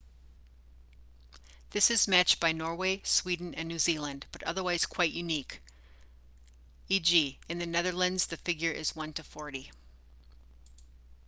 this is matched by norway sweden and new zealand but otherwise quite unique e.g. in the netherlands the figure is one to forty